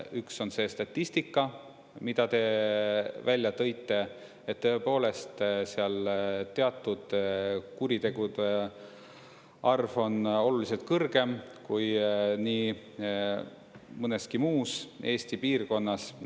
Üks on see statistika, mida te välja tõite, et tõepoolest seal teatud kuritegude arv on oluliselt kõrgem kui nii mõneski muus Eesti piirkonnas.